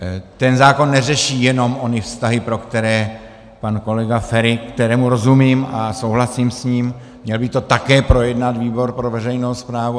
Ten zákon neřeší jenom ony vztahy, pro které pan kolega Feri - kterému rozumím a souhlasím s ním, měl by to také projednat výbor pro veřejnou správu.